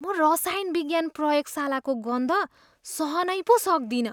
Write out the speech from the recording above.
म रसायन विज्ञान प्रयोगशालाको गन्ध सहनै पो सक्दिनँ।